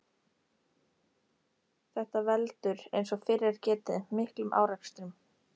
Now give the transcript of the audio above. Þetta veldur, eins og fyrr er getið, miklum árekstrum.